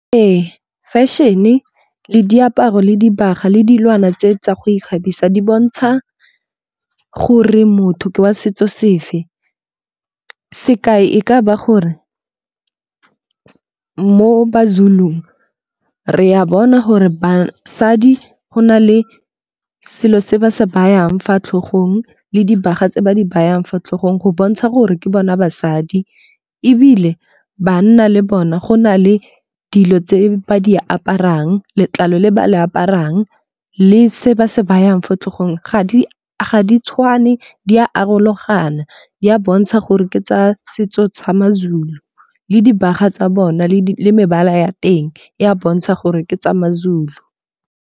Ee, fashion le diaparo le dibaga le dilwana tse tsa go ikgabisa di bontsha gore motho ke wa setso sefe. Sekai e ka ba gore mo ba-Zulu-ong re a bona gore basadi go na le selo se ba se ba yang fa tlhogong le dibaga tse ba di bayang fa tlhogong go bontsha gore ke bona basadi. Ebile banna le bona go na le dilo tse ba di aparang, letlalo le ba le aparang le se ba se ba yang fa tlhogong. Ga di tshwane di arologana di a bontsha gore ke tsa setso tsa ma-Zulu le dibaga tsa bona le mebala ya teng e a bontsha gore ke tsa ma-Zulu.